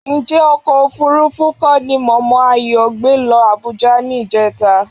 Ǹjẹ́ ọkọ̀ òfuurufú kọ́ ni mọ̀mọ́ Ayọ̀ gbé lọ Àbújá ní ìjẹta?